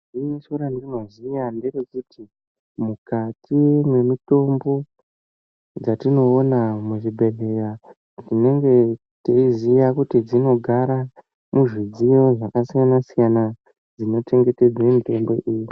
Gwinyiso randinoziya nderekuti, mukati mwemitombo dzatinoona muchibhedhlera, tinenge teiziya kuti dzinogara muzvidziyo zvakasiyana-siyana zvinochengetedze mitombo iyi.